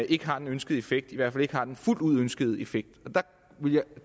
ikke har den ønskede effekt i hvert fald ikke har den fuldt ud ønskede effekt der